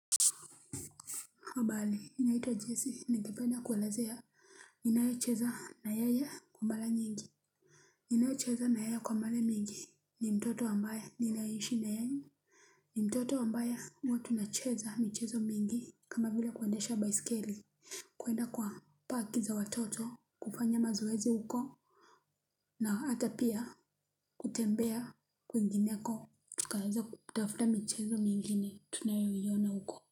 Habari naitwa jesse ningependa kuelezea ninayecheza na yeye kwa mara nyingi. Ninayecheza naye kwa mara nyingi ni mtoto ambaye ninaishi naye. Ni mtoto ambaye huwa tunacheza michezo mingi kama vile kuendesha baiskeli. Kwenda kwa park za watoto kufanya mazoezi huko. Na hata pia kutembea kwingineko tukaweza kutafuta michezo mingine tunayoiona huko.